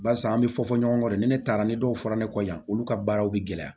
Barisa an bɛ fɔ fɔ ɲɔgɔn kɔ de ni ne taara ni dɔw fɔra ne kɔ yan olu ka baaraw bɛ gɛlɛya